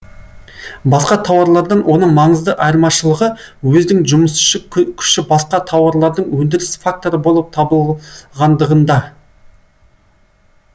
басқа тауарлардан оның маңызды айырмашылығы өздің жұмысшы күші басқа тауарлардың өндіріс факторы болып табылғандығында